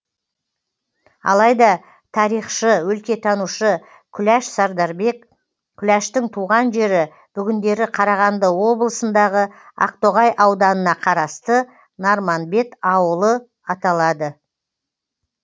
алайда тарихшы өлкетанушы күләш сардарбек күләштің туған жері бүгіндері қарағанды облысындағы ақтоғай ауданына қарасты нарманбет ауылы аталады